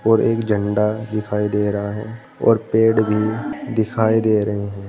और एक झंडा दिखाई दे रहा है और पेड़ भी दिखाई दे रहे हैं।